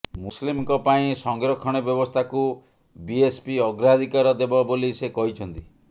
ମୁସଲିମ୍ଙ୍କ ପାଇଁ ସଂରକ୍ଷଣ ବ୍ୟବସ୍ଥାକୁ ବିଏସ୍ପି ଅଗ୍ରାଧିକାର ଦେବ ବୋଲି ସେ କହିଛନ୍ତି